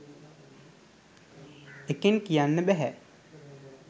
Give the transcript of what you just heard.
එකෙන් කියන්න බැහැ